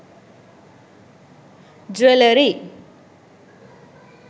jewellery